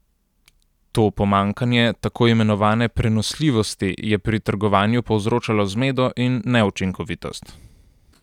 To pomanjkanje tako imenovane prenosljivosti je pri trgovanju povzročalo zmedo in neučinkovitost.